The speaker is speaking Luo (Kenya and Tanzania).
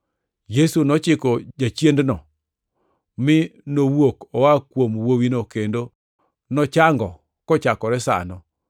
Yesu nochiko jachiendno, mi nowuok oa kuom wuowino, kendo nochango kochakore sano.